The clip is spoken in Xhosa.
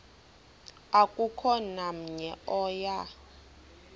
akukho namnye oya